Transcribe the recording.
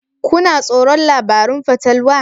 Kuna tsoron labarun fatalwa?